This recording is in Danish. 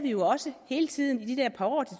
jo også hele tiden i de der par år det